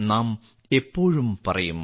നാം എപ്പോഴും പറയും